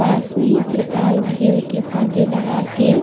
पास में ही त्रिपाल घेर के पर्दे लगा के --